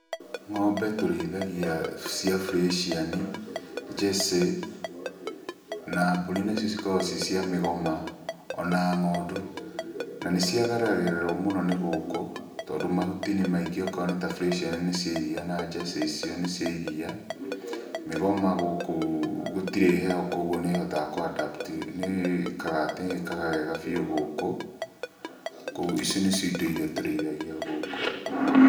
Ng'ombe tũrĩithagia cia bureciani, njecĩ, na mbũri nacio cikoragwo ci cia mĩgoma, ona ng'ondu. Na nĩ ciagagĩrĩrwo mũno nĩ gũkũ, tondũ mahuti nĩ maingĩ okorwo nĩ ta bureciani nĩ cia iria na njecĩ icio nĩ cia iria. Mĩgoma gũkũ gũtirĩ heho koguo nĩ ĩhotaga kũ adapt nĩ ĩkaga wega biũ gũkũ. Koguo ici nĩcio indo iria tũrĩithagia gũkũ.